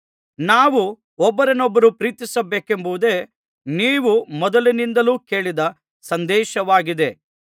ನಾವು ಒಬ್ಬರನ್ನೊಬ್ಬರು ಪ್ರೀತಿಸಬೇಕೆಂಬುದೇ ನೀವು ಮೊದಲಿನಿಂದಲೂ ಕೇಳಿದ ಸಂದೇಶವಾಗಿದೆ